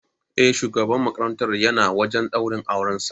Eh, shugaban makarantar yana wajan daurin auran sa